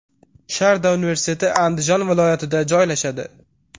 Sharda universiteti Andijon viloyatida joylashadi.